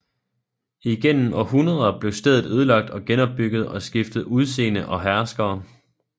Igennem århundreder blev stedet ødelagt og genopbygget og skiftede udseende og herskere